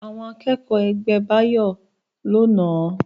Àwọn akẹ́kọ̀ọ́ ẹgbẹ́ Báyọ̀ ló nàá